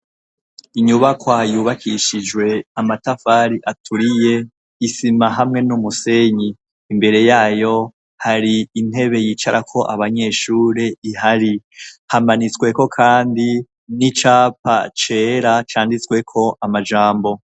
Inyubakoayubakishijwe amatafari aturiye isima hamwe n'umusenyi imbere yayo hari intebe yicarako abanyeshure ihari hamanitsweko, kandi n'icapa cera canditsweko amajambo.